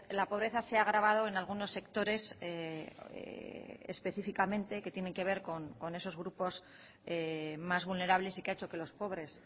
la pobreza se ha agravado en algunos sectores específicamente que tienen que ver con esos grupos más vulnerables y que ha hecho que los pobres